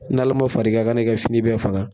NALA ma far'i kan i kan'i ka fini bɛɛ faga.